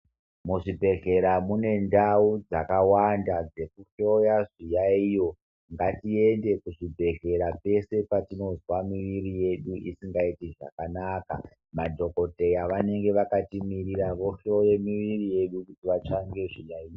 Muzvibhedhlera mune ndau dzakawanda dzekuhloya zviyaiyo ngatiende kuzvibhedhlera peshe patinozwa muri yedu usundaiti zvakanaka madhokodheya anenge akatimirira vohloye muviri yedu kuti vatsvake zviyaiyo.